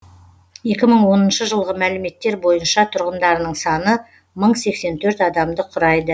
екі мың оныншы жылғы мәліметтер бойынша тұрғындарының саны мың сексен төрт адамды құрайды